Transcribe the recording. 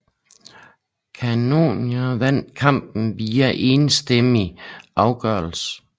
Cannonier vandt kampen via enstemmig afgørelse